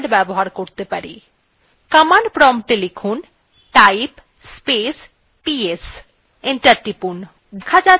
command promptএ লিখুন type space ps enter টিপুন